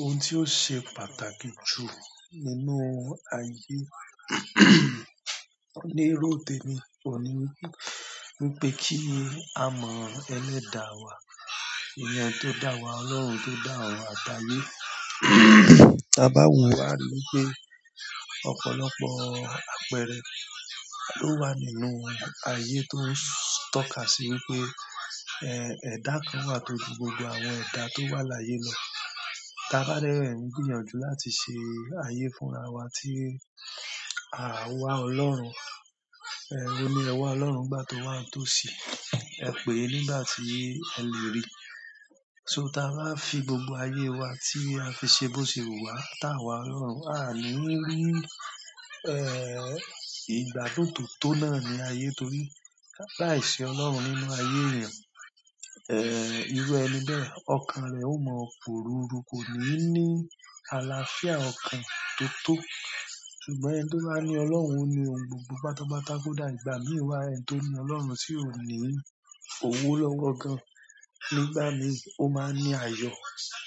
Ohun tí ó ṣe pàtàkì jù nínú ayé lérò tẹmi oun ní wípé, wípé kí á mọ ẹlẹ́dà wá, iyen ẹni tó dá wa, Ọlọ́run tó dá orun àti ayé. Ta ba wo a ri wípé ọ̀pọ̀lọpọ̀ àpẹẹrẹ lo nínú aye to n tọ́ka si wípé eda kan wa to ju gbogbo àwọn eda to wa laye lo tà bá dẹ́ ngbìyànjú láti ṣe ayé fún ra wa tí à wa Ọlọ́run, o ni ẹ̀wà Ọlọ́run nígbà tó wà n tó sì, ẹ pè é nígbà tí ẹ lè rí i. So tà bá fi gbogbo ayé wa tí a fi ṣe bó ṣe wuwà táwà Ọlọ́run, á ní rí, ìgbà tó tòótó náà ní ayé torí laìṣi Ọlọ́run nínú ayé èèyàn, irú ẹni bẹ́ẹ̀, ọkàn rẹ̀ ó mọ pò ruru kò ní ní àlàáfíà ọkàn tó tó. Ṣùgbọ́n ẹni tó bá ní Ọlọ́run ní ohun gbogbo. Pátápátá kódà ìgbà mi wa, ẹni tó ní Ọlọ́run tì ò ní owó lọ́wọ́ gan-an. Nígbà mi o máa ń ní àyọ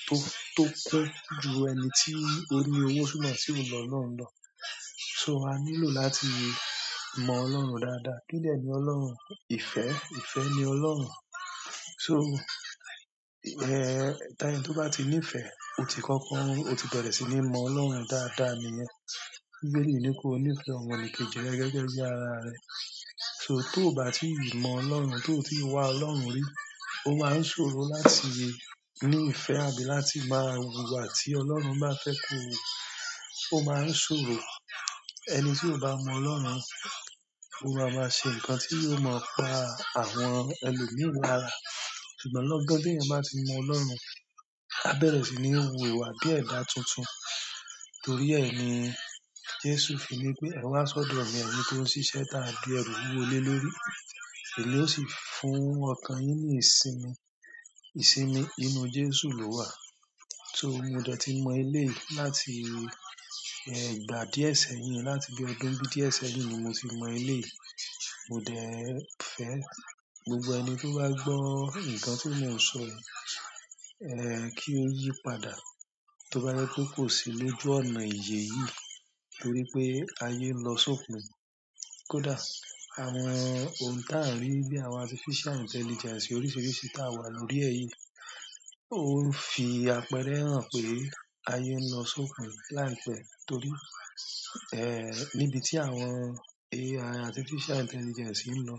tó, tó kún ju ẹni tí ó ní owó súnmọ́ tí ò ni Olọ̀run lọ. So a nílò láti mọ Ọlọ́run dáadáa. Kídẹ ni Ọlọ́run? Ifẹ́, ifẹ́ ni Ọlọ́run. So, ta ẹni tó bá ti ní ìfẹ́, o ti kọ́kọ́, o ti bẹ̀rẹ̀ sí ní mọ Ọlọ́run dáadáa níyẹn. Bíbẹ́li ni kó ní ìfẹ́ ọmọ nikeji re gẹ́gẹ́ bí ara rẹ̀. So tó bá ti í mọ Ọlọ́run, tó ti wá Ọlọ́run rí, o máa ń ṣòro láti ní ìfẹ́ àbí láti máa wùwà tí Ọlọ́run bá fẹ́ kó hu. O máa ń ṣòro. Ẹni tí ò bá mọ Ọlọ́run, ó máa maá ṣe nǹkan tí yóò mọ pá àwọn ẹlòmíi lára. Ṣùgbọ́n lọ́gán tí ẹeyan bá ti mọ Ọlọ́run, a bẹ̀rẹ̀ sí ní wù ìwà bí ẹ̀dá tuntun. Torí ẹ ni Jésù fi ní pé, "Ẹ wá sọ́dọ̀ mi, ẹyin tó ń ṣiṣẹ́ táa dí ẹrù wúwo lé lórí, emi ó sì fún ọkàn yín ní ìsinmi." Ìsinmi inú Jésù ló wà. So mo dẹ́ ti mọ eléyi láti, ìgbà díẹ̀ sẹ́yìn, láti bí ọdún bí díẹ̀ sẹ́yìn ni mo ti mọ eléyi. Mo dẹ́ ẹ fẹ́ gbogbo ẹni tó bá gbọ́ nǹkan tí mò ń sọ yìí, kí ó yípadà. Tóbá jẹ́ pé kò sí lójú ọnà ìyè yí torí pé ayé ń lọ sópin. Kódà àwọn ohun tà ń rí bíi àwọn artificial intelligence oríṣiiríṣii tà wà lórí ẹ̀ yí ó ń fi àpẹẹrẹ hàn pé ayé ń lọ sópin láìpẹ́ torí, níbi tí àwọn AI, artificial intelligence ń lọ,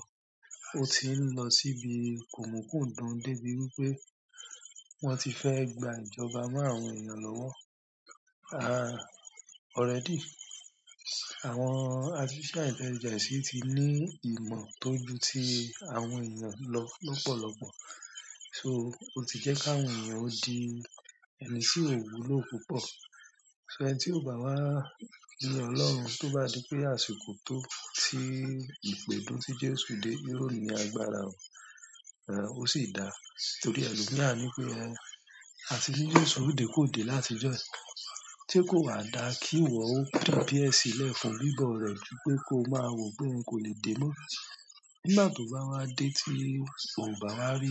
ó ti ń lọ síbi kòmùkùndùn débi wípé wón ti fẹ́ gba ìjọba mọ́ àwọn èèyàn lọ́wọ́. Already àwọn artificial intelligence ti ní ìmọ̀ tó ju tí àwọn èèyàn lọ lọ́pọ̀lọ́pọ̀. So ó ti jẹ́ káwọn èèyàn ó di ẹni tí ò wúlò púpọ̀. So ẹni tí ò bá wá ni Ọlọ́run tó bá di pé àsìkò tó tí ìpèdun tí Jésù dé yí ò ní agbára o, ó sì dàa. Torí ẹlòmíi ni pé, ẹ́hn, àti ní Jésù o dé kò dé láti ijo yi. Se kò wà dà kí ìwọ ó prepare sílẹ̀ fún bíbọ̀ rẹ̀ ju pé kó máa wọ̀ pé kò lè dé mọ́. Nígbà tó bá wá dé tí ò bá rí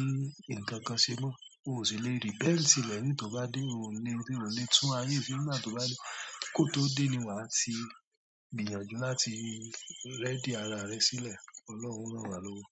ǹnkan kan se mo, o sì lè rí repent lẹ̀yin tó bá dé, ò le--ò lè tún ayé ṣe nígbà tó bá dé. Kó tó dé ni wà á ti gbìyànjú láti ready ara rẹ sílẹ̀. Ọlọ́run o ran wa lowo.